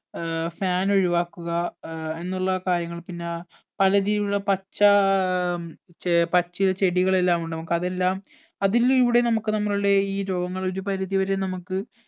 ഏർ fan ഒഴിവാക്കുക air എന്നുള്ള കാര്യങ്ങൾ പിന്ന യുള്ള പച്ച ഏർ ചെ പച്ചില ചെടികൾ എല്ലാം ഉണ്ട് നമുക്ക് അതെല്ലാം അതിലൂടെ നമുക്ക് നമ്മളുടെ ഈ രോഗങ്ങൾ ഒരുപരിധി വരെ നമുക്ക്